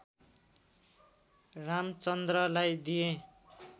रामचन्द्रलाई दिए